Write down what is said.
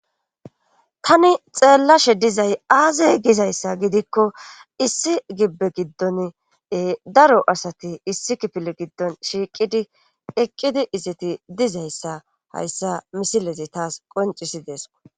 Tani xeellashe dizay aazey gizayssa gidikko issi gibbe giddon daro asati issi kipile giddon shiiqidi eqqidi izeti dizayssa hayssa misilezi taas qoncisidees